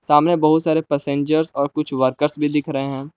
हमें बहुत सारे पैसेंजर्स और कुछ वर्करस भी दिख रहे हैं।